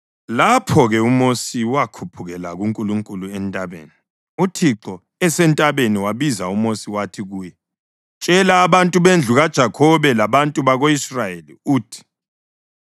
Lapho-ke uMosi wakhuphukela kuNkulunkulu entabeni, uThixo esentabeni wabiza uMosi wathi kuye, “Tshela abantu bendlu kaJakhobe labantu bako-Israyeli, uthi